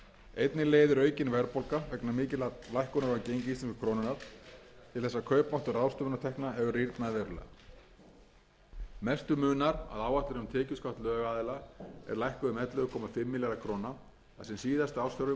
einnig leiðir aukin verðbólga vegna mikillar lækkunar á gengi íslensku krónunnar til þess að kaupmáttur ráðstöfunartekna hefur rýrnað verulega mestu munar að áætlun um tekjuskatt lögaðila er lækkuð um ellefu komma fimm milljarða króna þar sem síðasti ársfjórðungur tvö þúsund